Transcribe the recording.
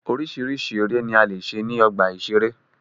Oríṣiríṣi eré ni a lè ṣe ní ọgbà ìṣeré.